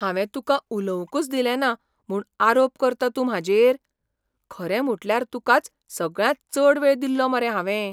हांवें तुका उलोवंकच दिलें ना म्हूण आरोप करता तूं म्हाजेर? खरें म्हुटल्यार तुकाच सगळ्यांत चड वेळ दिल्लो मरे हावें.